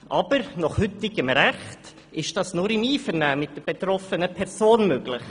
Allerdings ist dies nach heutigem Recht nur im Einvernehmen mit der betroffenen Person möglich.